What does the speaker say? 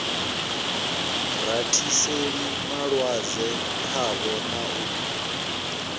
rathiseli malwadze khavho na u